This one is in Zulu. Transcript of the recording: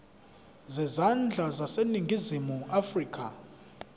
zezandla zaseningizimu afrika